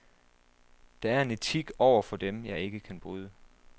Der er en etik over for dem, jeg ikke kan bryde.